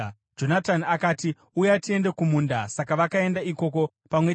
Jonatani akati, “Uya, tiende kumunda.” Saka vakaenda ikoko pamwe chete.